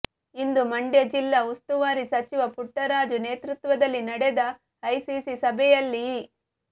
ಇಂದು ಮಂಡ್ಯ ಜಿಲ್ಲಾ ಉಸ್ತುವಾರಿ ಸಚಿವ ಪುಟ್ಟರಾಜು ನೇತೃತ್ವದಲ್ಲಿ ನಡೆದ ಐಸಿಸಿ ಸಭೆಯಲ್ಲಿ ಈ